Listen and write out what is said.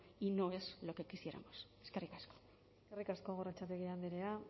y no es lo que quisiéramos eskerrik asko eskerrik asko gorrotxategi andrea